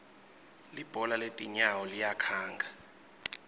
libhola letinyawo liyakhanga